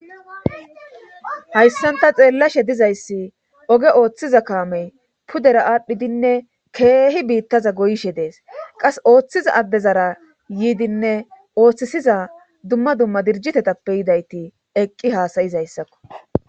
hayssanta xeellashe dizayssi oge ooththiza kaamey pudera aadhdhidinne keehi biittaza goyshe dees qas ooththiza addezara yiidinne ooththisiza dumma dumma dirjitetappe yidayti eqqi haasayizayssakko